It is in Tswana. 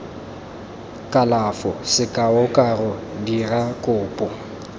kalafo sekao karo dira kopo